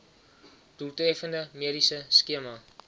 doeltreffende mediese skema